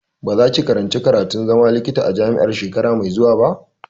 Ba za ki karanci karatun zama likita a jami'a shekara mai zuwa ba!